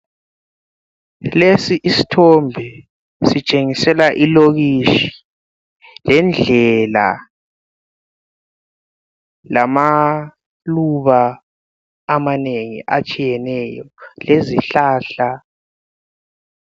Lesi isithombe sitshengisela ilokitshi, lendlela lamaluba amanengi atshiyeneyo lezihlahla.